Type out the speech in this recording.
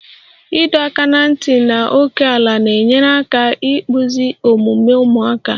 Ịdọ aka ná ntị na ókèala na-enyere aka ịkpụzi omume ụmụaka